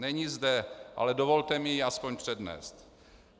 Není zde, ale dovolte mi ji aspoň přednést.